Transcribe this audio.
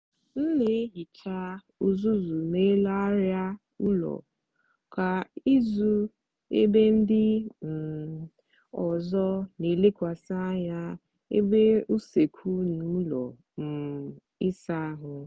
m n'ehicha uzuzu n’elu arịa ụlọ kwa izu ebe ndị um ọzọ n'elekwasị anya ebe usekwu na ụlọ um ịsa ahụ